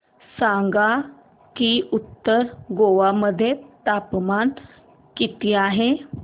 सांगा की उत्तर गोवा मध्ये तापमान किती आहे